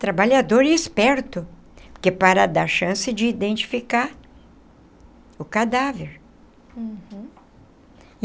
trabalhador e esperto, que é para dar chance de identificar o cadáver. Uhum.